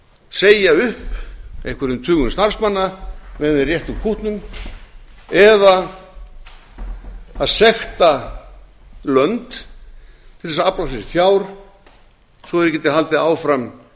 segja upp einhverjum tugum starfsmanna meðan þeir rétta úr kútnum eða að sekta lönd til þess að afla sér fjár svo að þeir geti haldið áfram